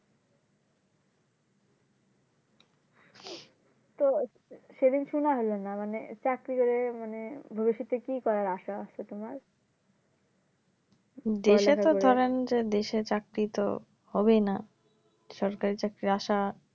তো সেদিন শুনা হলো না মানে চাকরি করে মানে ভবিষ্যতে কি করার আশা আছে তুমার দেশে তো ধরেন দেশে চাকরিত হবেই না সরকারি চাকরির আশা